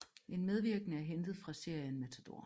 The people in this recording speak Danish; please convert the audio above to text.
En medvirkende er hentet fra serien Matador